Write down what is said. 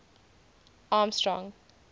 armstrong